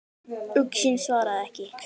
Uxinn svaraði ekki.